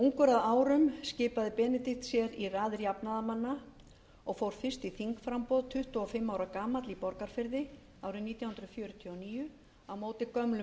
ungur að árum skipaði benedikt sér í raðir jafnaðarmanna og fór fyrst í þingframboð tuttugu og fimm ára gamall í borgarfirði árið nítján hundruð fjörutíu og níu á móti gömlum